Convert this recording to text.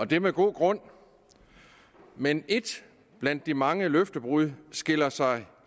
det er med god grund men et blandt de mange løftebrud skiller sig